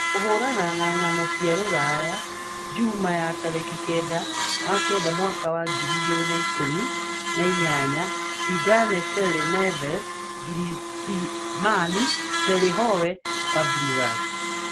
Kũhũũrana na Ng'ano cia Rũraya Njuma ya tarĩki kenda wa kenda mwaka wa ngiri igĩrĩ na ikũmi na inyanya:Zidane, Terry, Neves, Griezmann, Terry, Howe, Fabregas,